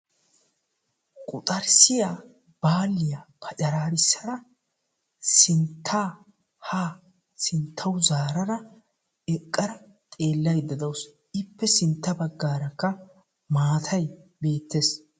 quxarssiyaa baaliyaa paccararissada sintta ha sinttaw zaarada eqqada xeelayda dawus; ippe sintta baggarakka mattay bettees.